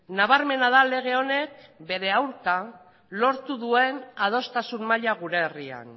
nabarmena da lege honek bere aurka lortu duen adostasun maila gure herrian